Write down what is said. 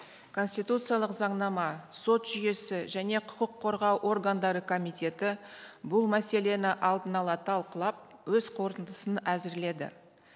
конституциялық заңнама сот жүйесі және құқық қорғау органдары комитеті бұл мәселені алдын ала талқылап өз қорытындысын әзірледі